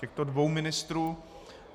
Těchto dvou ministrů.